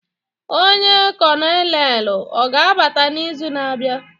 Ọnye kolonelu oga-abata n'izu na-abịa?